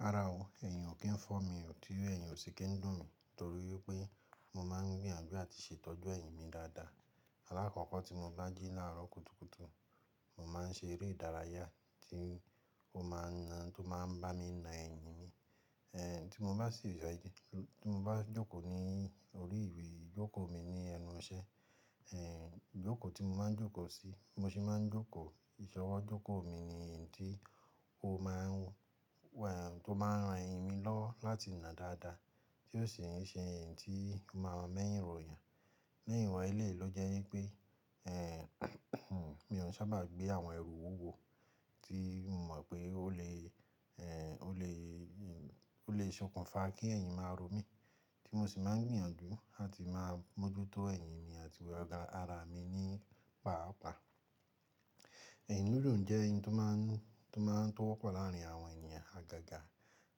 Rárá o, ẹ̀yìn ò kí ń fọ́ mi, ò tí óì ẹ̀yìn ò sì kí ń dùn mi torí pé mo máa ń gbìyànjú àti ṣètọ́jú ẹ̀yìn mi dáadáa. Alákọ̀kọ́ tí mo bá jí láàárọ̀ kùtùkùtù, mo máa ń ṣe eré ìdárayá tí ó máa ń bá mi na ẹ̀yìn mi. Ẹ̀ tí mo bá sì--, tí mo bá jókòó ní orí ìwé, jókòó mi ní ẹnu iṣẹ́. Ẹ̀ ijókòó tí mo máa ń jókòó sí, bí mo ṣe máa ń jókòó ìṣọwọ́ jókòó mi ni ẹ̀yì tí ó máa ń, tí ó máa ń ran ẹ̀yìn mi lọ́ láti ná dáadáa tí ó sì ń ṣe ẹ̀yì tí n máa ń mẹ́yìn ròyàn. Ní ìwọ̀n eléyi ló jẹ́ wípé, mi ò n sábà gbé àwọn ẹrù wúwo tí mo mọ̀ pé ó lè, ẹ̀ ó lè, ó lè sokùn fa kí ẹ̀yìn máa ro mí tí mo sì máa ń gbìyànjú làti máa mójútó ẹ̀yìn mi àti ara mi nípaàpa. Ẹ̀yìn dúndùn jẹ́ n tó máa ń, tó máa ń tó wọ́pọ̀ láàrin àwọn ènìyàn àgàgà,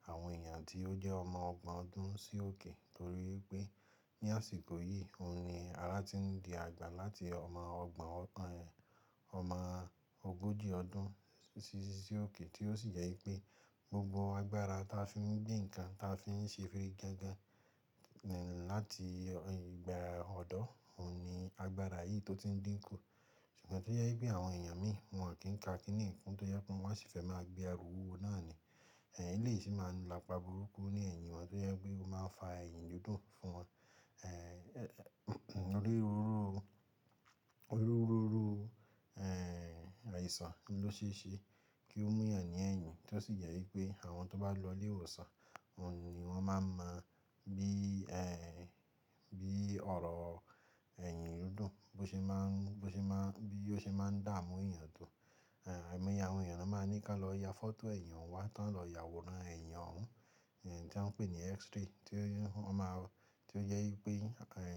àwọn ènìyàn tí ó jẹ́ ọmọ ọgbọ̀n ọdún sí òkè torí pé ní àsìkò yìí, òun ni ara ti ń di àgbà láti ọmọ ọgbọ̀n, ọmọ ogójì ọdún sí, sí òkè tí ó sì jẹ́ wípé gbogbo agbára ti a fi ń gbé nǹkan, ti a fi ń ṣe firigangan láti ìgbà ọ̀dọ́, òun ni agbára yìí tó ti ń din ku ṣùgbọ́n tó jẹ́ pé àwọn èèyàn mìí, wọ́n ò kì n ka kini yìí kún, tó jẹ́ pé wọ́n máa n sì fẹ́ máa gbé ẹrù wúwo nooni eléyìí sì máa ń la ipa burúkú ní ẹ̀yìn wọn, tó jẹ́ pé ó máa ń fa ẹ̀yìn dundun fún wọn oniru irú oniru ru irú àìsàn n l'osee ṣe kí ó mú èèyàn ní ẹ̀yìn, tí ó sì jẹ́ wípé, àwọn tó bá lọ sí ilé ìwòsàn, àwọn ni wọ́n máa ń mọ bí ọ̀rọ̀ ẹ̀yìn dundun bí ọ̀sẹ̀ máa ń dààmú èèyàn tó àìmọye àwọn èyàn ní wọ́n máa ni kí wọ́n lọ ya photo ẹ̀yìn wọn wá tí wọ́n o lọ ya àwòrán eyin òun-- ti wọ́n pè ní x-ray tí ó jẹ́ wípé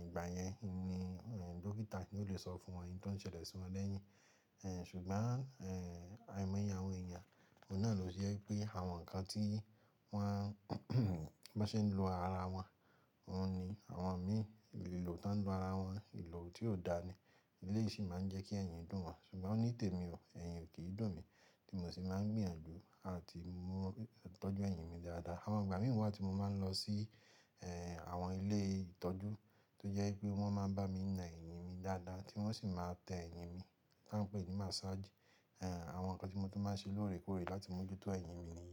ìgbà yẹn ni dókítà ó lè sọ fún wọn ń ti on ṣẹlẹ̀ sí wọn lẹ́yìn ṣùgbọ́n àìmọye àwọn èèyàn òun náà ni oje wípé àwọn ǹkan tí wọ́n-- bon ṣe ń lò ara wọn òun ni-- àwọn mìí, ìlò ti wọ́n lò ara wọn, ìlò tí ò dáa ni eléyi sì máa ń jẹ́ kí ẹ̀yìn dùn wọn. Ṣùgbọ́n nitemi o, ẹ̀yìn ò kìí n dùn mi, mo sì máa ń gbìyànjú àti tọ́jú ẹ̀yìn mi dáadáa. Àwọn ìgbà mìíràn wà tí mo máa ń lọ sí àwọn ilé ìtọ́jú tó jẹ́ wípé wọ́n máa ń bá mi na ẹ̀yìn mi dáadáa tí wọ́n sì máa tẹ ẹ̀yìn mi tí wọ́n ń pè ní massage. Àwọn nǹkan tí mo tí máa ṣe lóòrèkóòrè láti mójútó ẹ̀yìn mi ni.